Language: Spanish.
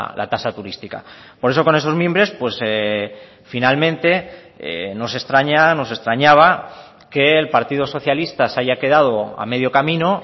la tasa turística por eso con esos mimbres finalmente nos extraña nos extrañaba que el partido socialista se haya quedado a medio camino